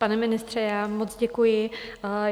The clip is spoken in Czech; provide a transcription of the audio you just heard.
Pane ministře, já moc děkuji.